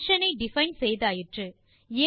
function ஐ define செய்தாயிற்று